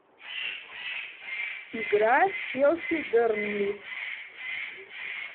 игра челси бернли